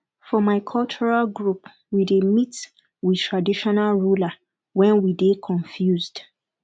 for my cultural group we dey meet we traditional ruler wen we dey confused